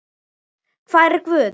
hvar er Guð?